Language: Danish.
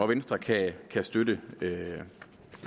venstre kan kan støtte